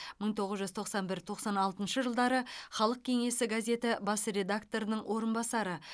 мың тоғыз жүз тоқсан бір тоқсан алтыншы жылдары халық кеңесі газеті бас редакторының орынбасары